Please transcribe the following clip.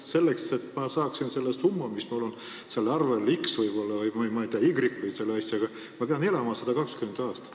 Selleks, et ma saaksin tagasi selle summa, mis mul on seal arvel x või y, ma peaksin elama 120 aastat.